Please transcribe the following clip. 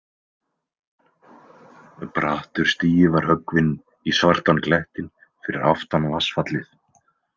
Brattur stigi var höggvinn í svartan klettinn fyrir aftan vatnsfallið.